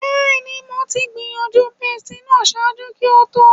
Bẹẹni, Mo ti gbiyanju pastilla ṣaaju ki o to